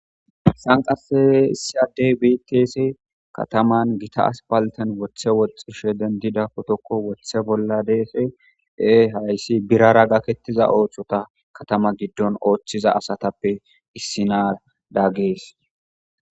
Sanqase isiyadey bites kataman gita aspalten woththe woxxishe dendida kotokko woththe bolla deese ee hayssi birara gakettiza oohchota katama giddon ooththiza asatappe issinar daggees.